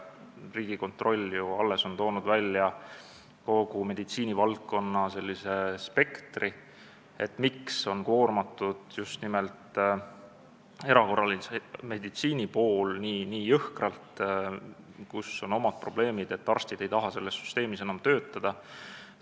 Riigikontroll on ju alles toonud välja kogu meditsiinivaldkonna spektri, selle, miks on nii jõhkralt koormatud just nimelt erakorralise meditsiini pool, kus on omad probleemid ja kus arstid ei taha enam töötada.